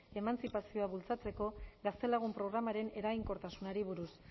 emantzipazioa bultzatzeko gaztelagun programaren eraginkortasunari buruz